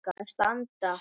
að standa.